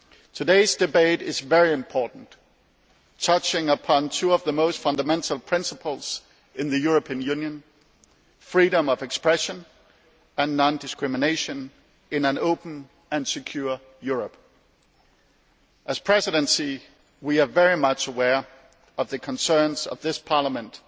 Today's debate is very important, touching upon two of the most fundamental principles of the European Union freedom of expression and non discrimination in an open and secure Europe. As the Presidency, we are very much aware of the concerns of this Parliament